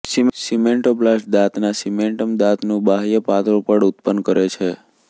cementoblast દાંતના cementum દાંતનું બાહ્ય પાતળુ પડ ઉત્પન કરે છે